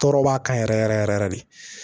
Tɔɔrɔ b'a kan yɛrɛ yɛrɛ yɛrɛ yɛrɛ de